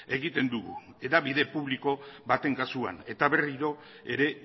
egiten dugu hedabide publiko baten kasua eta berriro ere